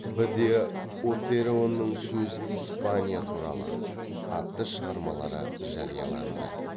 б де отероның сөз испания туралы атты шығармалары жарияланды